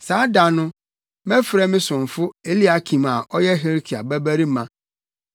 “Saa da no, mɛfrɛ me somfo Eliakim a ɔyɛ Hilkia babarima.